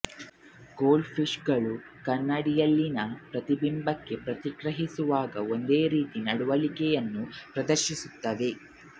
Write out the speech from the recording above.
gold fish ಗಳು ಕನ್ನಡಿಯಲ್ಲಿನ ಪ್ರತಿಬಿಂಬಕ್ಕೆ ಪ್ರತಿಕ್ರಿಯಿಸುವಾಗ ಒಂದೇ ರೀತಿಯ ನಡವಳಿಕೆಯನ್ನು ಪ್ರದರ್ಶಿಸುತ್ತವೆ